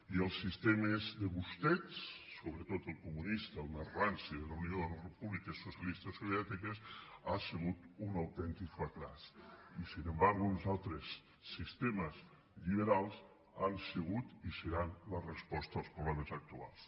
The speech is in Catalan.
i els sistemes de vostès sobretot el comunista el més ranci de la unió de les repúbliques socialistes soviètiques ha sigut un autèntic fracàs i no obstant uns altres sistemes lliberals han sigut i seran la resposta als problemes actuals